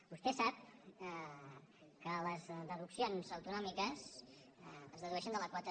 vostè sap que les deduccions autonòmiques es dedueixen de la quota